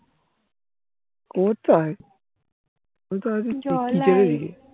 কোথায় কোথায়